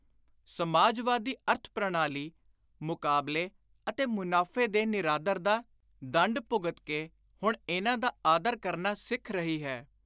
ਸਮਾਜਵਾਦੀ ਅਰਥ-ਪ੍ਰਣਾਲੀ, ਮੁਕਾਬਲੇ ਅਤੇ ਮੁਨਾਫ਼ੇ ਦੇ ਨਿਰਾਦਰ ਦਾ ਦੰਡ ਭੁਗਤ ਕੇ ਹੁਣ ਇਨ੍ਹਾਂ ਦਾ ਆਦਰ ਕਰਨਾ ਸਿੱਖ ਰਹੀ ਹੈ।